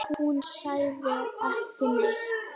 Hún sagði ekki neitt.